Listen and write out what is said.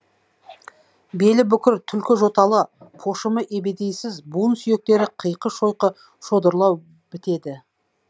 белі бүкір түлкі жоталы пошымы ебедейсіз буын сүйектері қиқы шойқы шодырлау бітеді